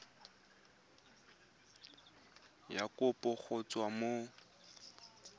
ya kopo go tswa mo